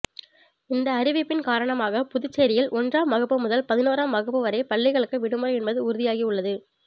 இந்த அறிவிப்பின் காரணமாக புதுச்சேரியில் ஒன்றாம் வகுப்பு முதல் பதினோராம் வகுப்பு வரை பள்ளிகளுக்கு விடுமுறை என்பது உறுதியாகி உள்ளது